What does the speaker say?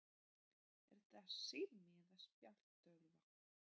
Er þetta sími eða spjaldtölva?